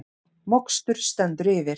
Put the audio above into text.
Mokstur stendur yfir